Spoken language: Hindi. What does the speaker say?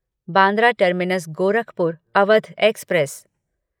Bandra terminus Gorakhpur Awadh express